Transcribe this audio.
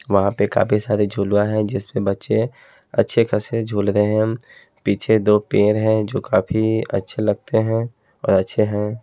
वहां पर काफी सारे झूला है। जिस पर बच्चे अच्छे खासे झूल रहे हैं। पीछे दो पेड़ हैं जो काफी अच्छे लगते हैं और अच्छे हैं।